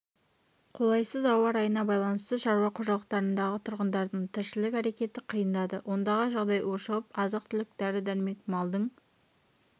қолайсыз ауа райына байланысты шаруа қожалықтарындағы тұрғындардың тіршілік әрекеті қиындады ондағы жағдай ушығып азық-түлік дәрі-дәрмек малдың